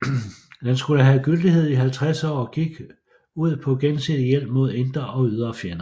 Den skulle have gyldighed i 50 år og gik ud på gensidig hjælp mod indre og ydre fjender